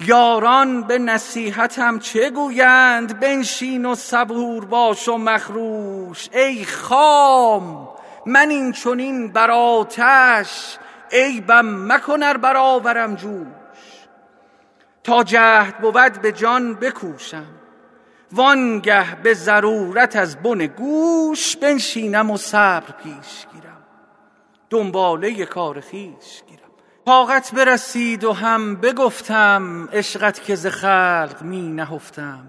یاران به نصیحتم چه گویند بنشین و صبور باش و مخروش ای خام من این چنین بر آتش عیبم مکن ار برآورم جوش تا جهد بود به جان بکوشم وآن گه به ضرورت از بن گوش بنشینم و صبر پیش گیرم دنباله کار خویش گیرم طاقت برسید و هم بگفتم عشقت که ز خلق می نهفتم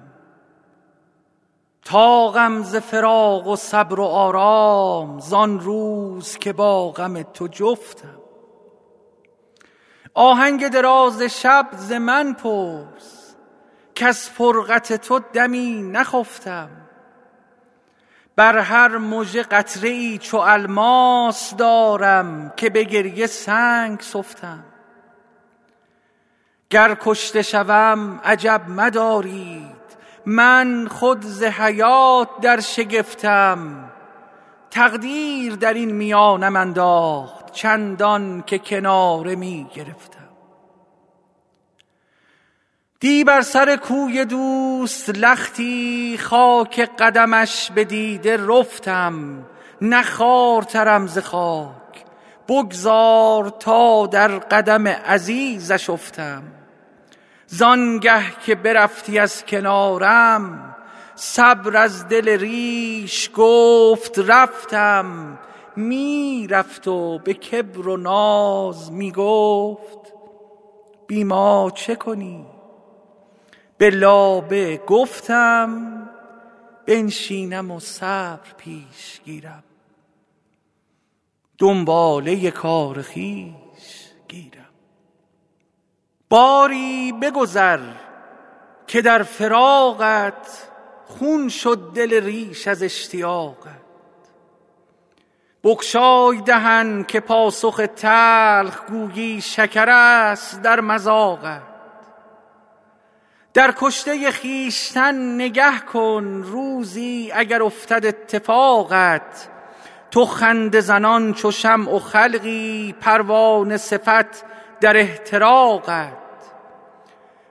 طاقم ز فراق و صبر و آرام زآن روز که با غم تو جفتم آهنگ دراز شب ز من پرس کز فرقت تو دمی نخفتم بر هر مژه قطره ای چو الماس دارم که به گریه سنگ سفتم گر کشته شوم عجب مدارید من خود ز حیات در شگفتم تقدیر درین میانم انداخت چندان که کناره می گرفتم دی بر سر کوی دوست لختی خاک قدمش به دیده رفتم نه خوارترم ز خاک بگذار تا در قدم عزیزش افتم زآن گه که برفتی از کنارم صبر از دل ریش گفت رفتم می رفت و به کبر و ناز می گفت بی ما چه کنی به لابه گفتم بنشینم و صبر پیش گیرم دنباله کار خویش گیرم باری بگذر که در فراقت خون شد دل ریش از اشتیاقت بگشای دهن که پاسخ تلخ گویی شکرست در مذاقت در کشته خویشتن نگه کن روزی اگر افتد اتفاقت تو خنده زنان چو شمع و خلقی پروانه صفت در احتراقت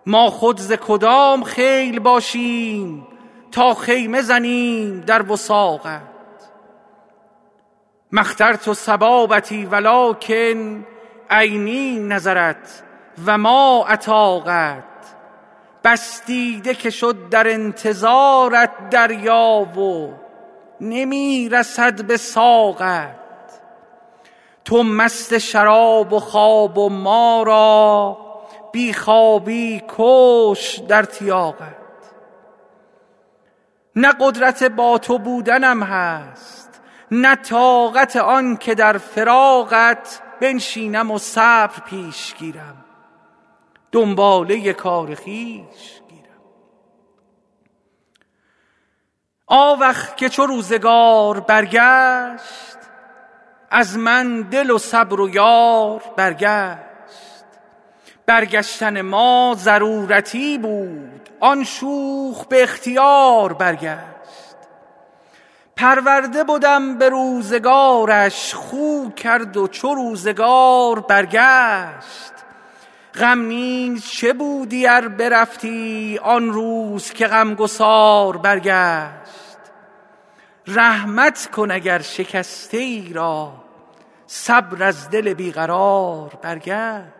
ما خود ز کدام خیل باشیم تا خیمه زنیم در وثاقت ما اخترت صبابتی ولکن عینی نظرت و ما اطاقت بس دیده که شد در انتظارت دریا و نمی رسد به ساقت تو مست شراب و خواب و ما را بی خوابی بکشت در تیاقت نه قدرت با تو بودنم هست نه طاقت آن که در فراقت بنشینم و صبر پیش گیرم دنباله کار خویش گیرم آوخ که چو روزگار برگشت از من دل و صبر و یار برگشت برگشتن ما ضرورتی بود وآن شوخ به اختیار برگشت پرورده بدم به روزگارش خو کرد و چو روزگار برگشت غم نیز چه بودی ار برفتی آن روز که غم گسار برگشت رحمت کن اگر شکسته ای را صبر از دل بی قرار برگشت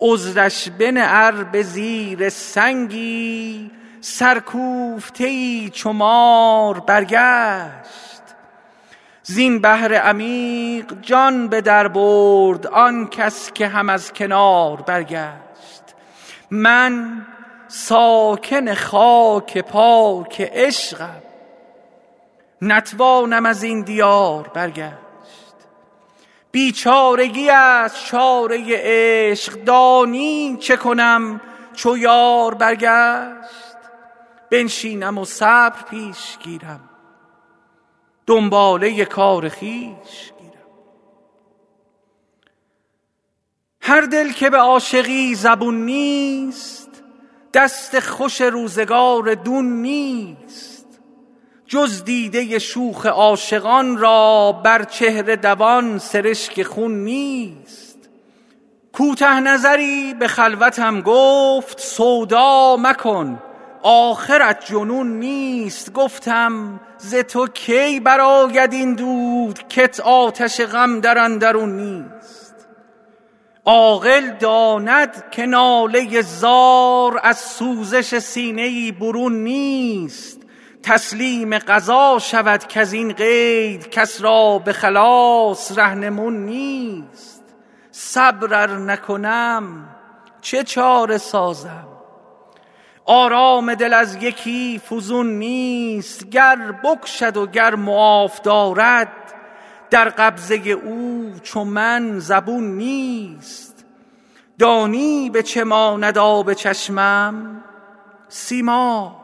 عذرش بنه ار به زیر سنگی سرکوفته ای چو مار برگشت زین بحر عمیق جان به در برد آن کس که هم از کنار برگشت من ساکن خاک پاک عشقم نتوانم ازین دیار برگشت بیچارگی ست چاره عشق دانی چه کنم چو یار برگشت بنشینم و صبر پیش گیرم دنباله کار خویش گیرم هر دل که به عاشقی زبون نیست دست خوش روزگار دون نیست جز دیده شوخ عاشقان را بر چهره دوان سرشک خون نیست کوته نظری به خلوتم گفت سودا مکن آخرت جنون نیست گفتم ز تو کی برآید این دود کت آتش غم در اندرون نیست عاقل داند که ناله زار از سوزش سینه ای برون نیست تسلیم قضا شود کزین قید کس را به خلاص رهنمون نیست صبر ار نکنم چه چاره سازم آرام دل از یکی فزون نیست گر بکشد و گر معاف دارد در قبضه او چو من زبون نیست دانی به چه ماند آب چشمم سیماب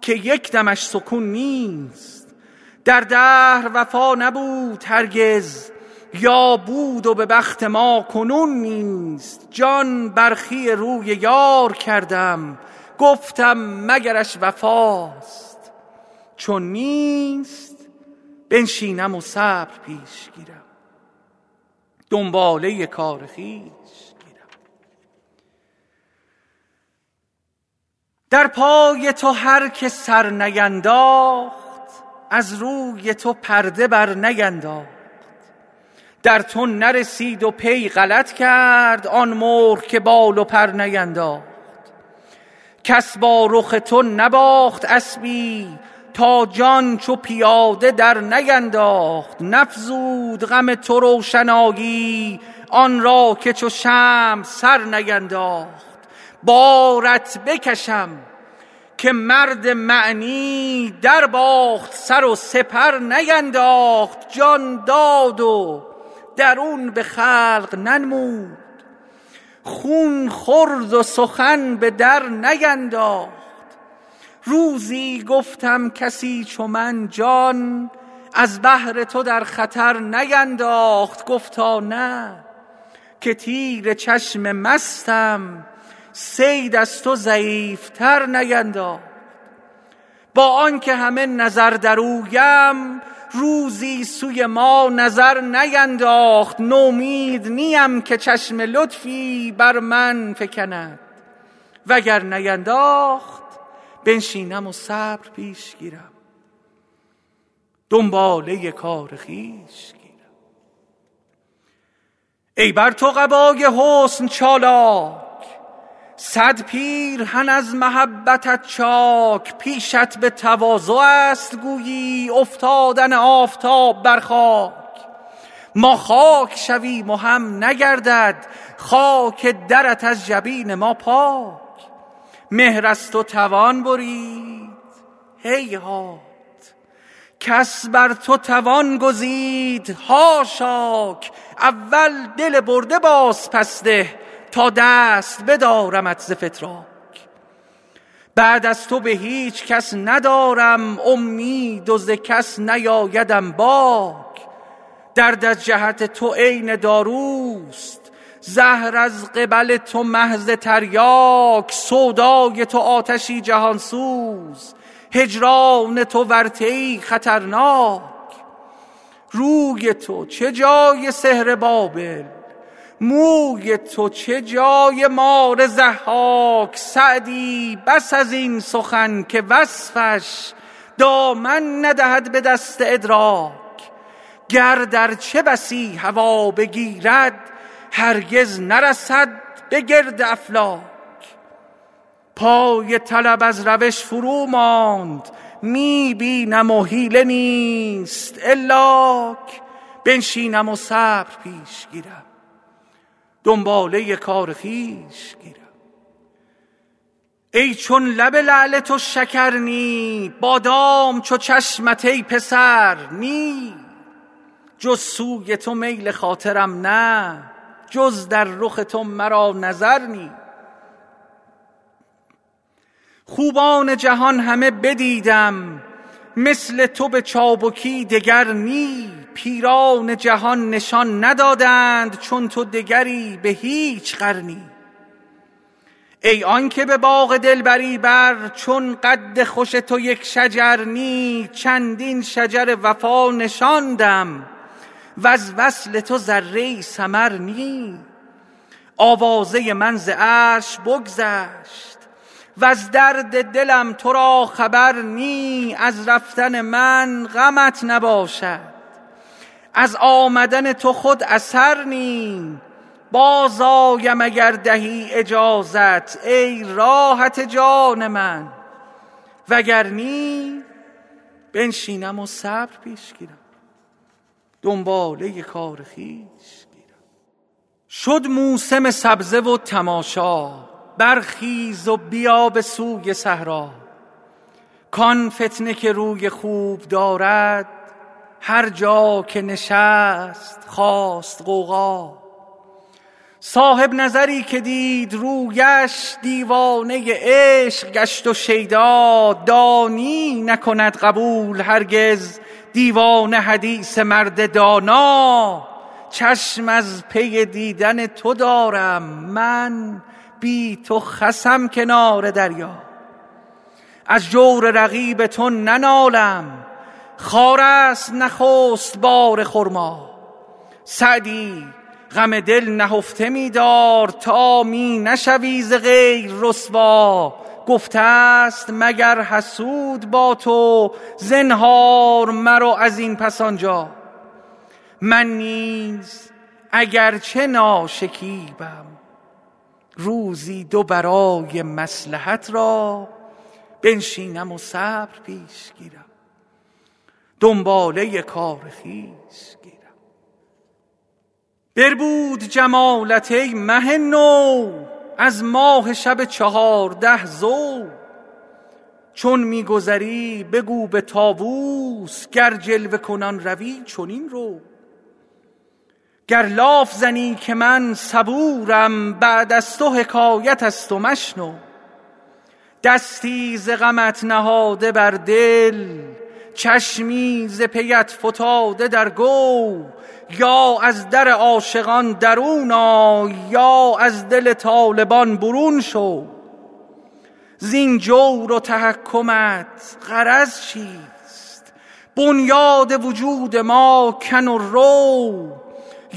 که یک دمش سکون نیست در دهر وفا نبود هرگز یا بود و به بخت ما کنون نیست جان برخی روی یار کردم گفتم مگرش وفاست چون نیست بنشینم و صبر پیش گیرم دنباله کار خویش گیرم در پای تو هر که سر نینداخت از روی تو پرده بر نینداخت در تو نرسید و پی غلط کرد آن مرغ که بال و پر نینداخت کس با رخ تو نباخت اسبی تا جان چو پیاده در نینداخت نفزود غم تو روشنایی آن را که چو شمع سر نینداخت بارت بکشم که مرد معنی در باخت سر و سپر نینداخت جان داد و درون به خلق ننمود خون خورد و سخن به در نینداخت روزی گفتم کسی چو من جان از بهر تو در خطر نینداخت گفتا نه که تیر چشم مستم صید از تو ضعیف تر نینداخت با آن که همه نظر در اویم روزی سوی ما نظر نینداخت نومید نیم که چشم لطفی بر من فکند وگر نینداخت بنشینم و صبر پیش گیرم دنباله کار خویش گیرم ای بر تو قبای حسن چالاک صد پیرهن از محبتت چاک پیشت به تواضع ست گویی افتادن آفتاب بر خاک ما خاک شویم و هم نگردد خاک درت از جبین ما پاک مهر از تو توان برید هیهات کس بر تو توان گزید حاشاک اول دل برده باز پس ده تا دست بدارمت ز فتراک بعد از تو به هیچ کس ندارم امید و ز کس نیآیدم باک درد از جهت تو عین داروست زهر از قبل تو محض تریاک سودای تو آتشی جهان سوز هجران تو ورطه ای خطرناک روی تو چه جای سحر بابل موی تو چه جای مار ضحاک سعدی بس ازین سخن که وصفش دامن ندهد به دست ادراک گرد ارچه بسی هوا بگیرد هرگز نرسد به گرد افلاک پای طلب از روش فرو ماند می بینم و حیله نیست الاک بنشینم و صبر پیش گیرم دنباله کار خویش گیرم ای چون لب لعل تو شکر نی بادام چو چشمت ای پسر نی جز سوی تو میل خاطرم نه جز در رخ تو مرا نظر نی خوبان جهان همه بدیدم مثل تو به چابکی دگر نی پیران جهان نشان ندادند چون تو دگری به هیچ قرنی ای آن که به باغ دلبری بر چون قد خوش تو یک شجر نی چندین شجر وفا نشاندم وز وصل تو ذره ای ثمر نی آوازه من ز عرش بگذشت وز درد دلم تو را خبر نی از رفتن من غمت نباشد از آمدن تو خود اثر نی باز آیم اگر دهی اجازت ای راحت جان من وگر نی بنشینم و صبر پیش گیرم دنباله کار خویش گیرم شد موسم سبزه و تماشا برخیز و بیا به سوی صحرا کآن فتنه که روی خوب دارد هر جا که نشست خاست غوغا صاحب نظری که دید رویش دیوانه عشق گشت و شیدا دانی نکند قبول هرگز دیوانه حدیث مرد دانا چشم از پی دیدن تو دارم من بی تو خسم کنار دریا از جور رقیب تو ننالم خارست نخست بار خرما سعدی غم دل نهفته می دار تا می نشوی ز غیر رسوا گفته ست مگر حسود با تو زنهار مرو ازین پس آنجا من نیز اگر چه ناشکیبم روزی دو برای مصلحت را بنشینم و صبر پیش گیرم دنباله کار خویش گیرم بربود جمالت ای مه نو از ماه شب چهارده ضو چون می گذری بگو به طاوس گر جلوه کنان روی چنین رو گر لاف زنم که من صبورم بعد از تو حکایت ست و مشنو دستی ز غمت نهاده بر دل چشمی ز پیت فتاده در گو یا از در عاشقان درون آی یا از دل طالبان برون شو زین جور و تحکمت غرض چیست بنیاد وجود ما کن و رو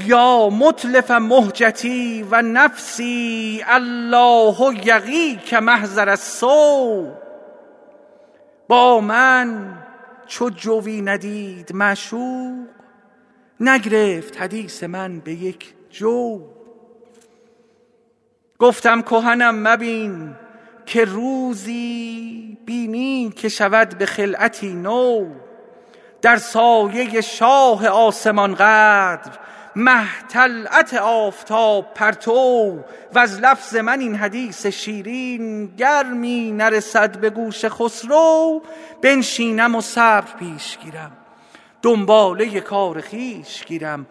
یا متلف مهجتی و نفسی الله یقیک محضر السو با من چو جویی ندید معشوق نگرفت حدیث من به یک جو گفتم کهنم مبین که روزی بینی که شود به خلعتی نو در سایه شاه آسمان قدر مه طلعت آفتاب پرتو وز لفظ من این حدیث شیرین گر می نرسد به گوش خسرو بنشینم و صبر پیش گیرم دنباله کار خویش گیرم